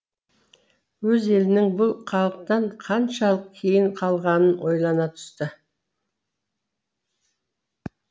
өз елінің бұл халықтан қаншалық кейін қалғанын ойлана түсті